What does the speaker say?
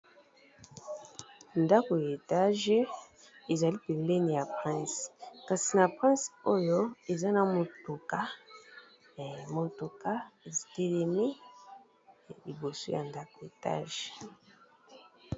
Ndako ya etage ezali pembeni ya prince kasi na prince oyo eza na motuka, motuka etelemi liboso ya ndako etage.